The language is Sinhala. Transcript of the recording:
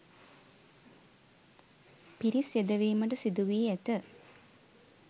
පිරිස් යෙදවීමට සිදුවී ඇත.